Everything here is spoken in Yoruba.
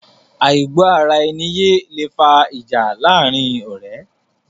Àìgbọ́ ara ẹni yé lẹ fa ìjà láàrin ọ̀rẹ́